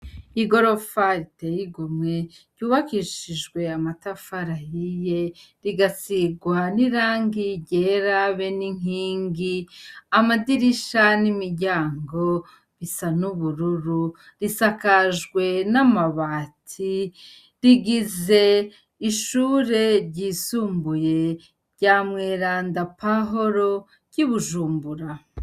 I gorofa riteyigumwe ryubakishijwe amatafarahiye rigasirwa n'irangi ryerabe n'inkingi amadirisha n'imiryango bisa n'ubururu risakajwe n'amabati rigize ishure ryisumbuye rya mweranda paholo ry'i bujumbura.